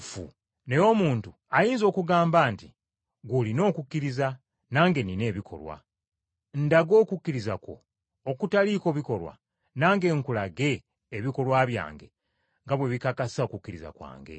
Naye omuntu ayinza okugamba nti, “Ggwe olina okukkiriza nange nnina ebikolwa; ndaga okukkiriza kwo okutaliiko bikolwa, nange nkulage ebikolwa byange nga bwe bikakasa okukkiriza kwange.”